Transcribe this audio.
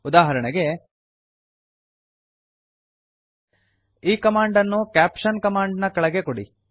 ಉದಾಹರಣೆಗೆ ಈ ಕಮಾಂಡನ್ನು ಕ್ಯಾಪ್ಷನ್ ಕಮಾಂಡ್ ನ ಕೆಳಗೆ ಕೊಡಿ